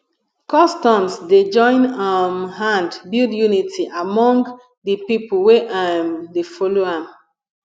customs dey join um hand build unity among de pipo wey um dey follow am